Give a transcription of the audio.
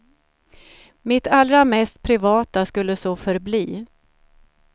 Mitt allra mest privata skulle så förbli.